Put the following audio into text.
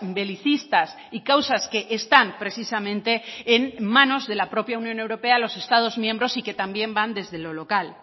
belicistas y causas que están precisamente en manos de la propia unión europea a los estados miembros y que también van desde lo local